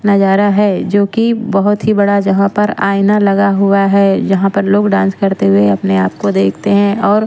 नजारा है जो कि बहुत ही बड़ा जहाँ पर आईना लगा हुआ है जहाँ पर लोग डांस करते हुए अपने आप को देखते हैं और--